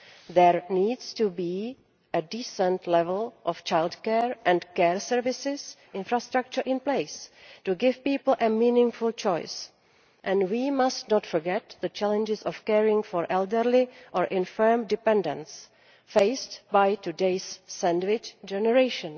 There needs to be a decent level of childcare and care services infrastructure in place to give people a meaningful choice, and we must not forget the challenges of caring for elderly or infirm dependants faced by today's sandwich generation.